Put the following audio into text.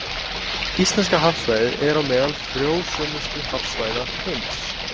Íslenska hafsvæðið er á meðal frjósömustu hafsvæða heims.